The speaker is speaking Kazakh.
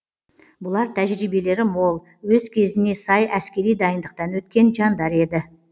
бұлар тәжібиелері мол өз кезіне сай әскери дайындықтан өткен жандар еді